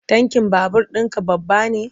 Tankin babur ɗinka babba ne?